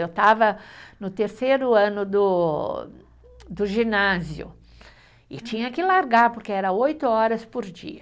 Eu estava no terceiro ano do, do ginásio e tinha que largar porque era oito horas por dia.